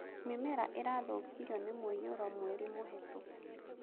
Mĩmera ĩrathũkirio ni mũiyũro mweri mũhetũku